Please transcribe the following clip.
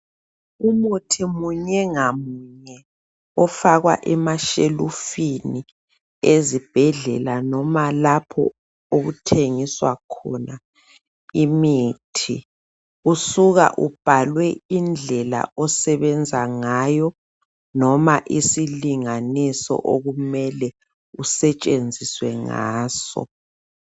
Umuthi munye ngamunye ofakwa emashelufini ezibhendlela noma lapho okuthengiswa khona imithi usuka ubhalwe indlela osebenza ngayo noma isilinganiso okumele kusetshenziswe ngaso.